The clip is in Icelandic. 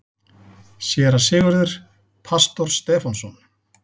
SÉRA SIGURÐUR: Pastor Stefánsson.